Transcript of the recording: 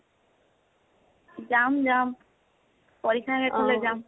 যাম যাম । পৰীক্ষা শেষ হলে যাম ।